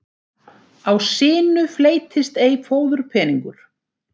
Á sinu fleytist ei fóðurpeningur.